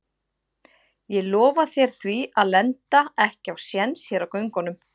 Ég lofa þér því að lenda ekki á séns hér á göngunum.